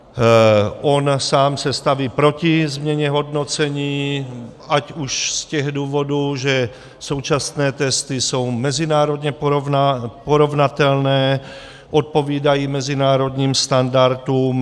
On sám se staví proti změně hodnocení ať už z těch důvodů, že současné testy jsou mezinárodně porovnatelné, odpovídají mezinárodním standardům.